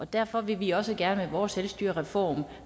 derfor vil vi også gerne med vores selvstyrereform